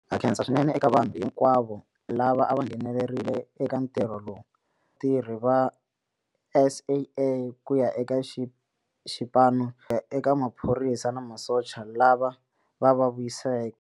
Ha khensa swinene eka vanhu hinkwavo lava a va nghenelerile vatirhi va SAA ku ya eka xipano xa ku ya eka maphorisa na masocha lava va va vuyiseke.